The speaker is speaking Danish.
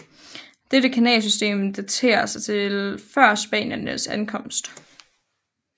Dette kanalsystem daterer sig til før spaniernes ankomst